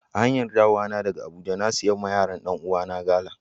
A hanyar dawowa daga Abuja, na siya ma yaran Dan uwa na gala.